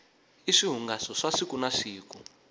i swihungaso swa siku na siku